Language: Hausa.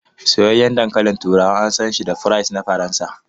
Soyayyen dankalin turawa an san shi da fries na Faransa.